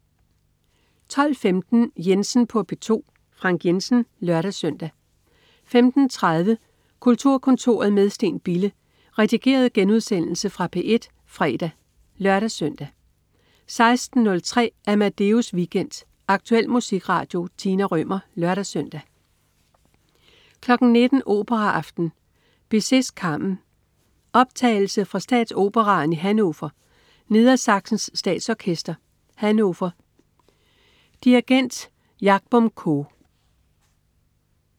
12.15 Jensen på P2. Frank Jensen (lør-søn) 15.30 Kulturkontoret med Steen Bille. Redigeret genudsendelse fra P1 fredag (lør-søn) 16.03 Amadeus Weekend. Aktuel musikradio. Tina Rømer (lør-søn) 19.00 Operaaften. Bizet: Carmen. Optagelse fra Statsoperaen i Hannover. Nedersachsens Statsorkester, Hannover. Dirigent: Jahbom Koo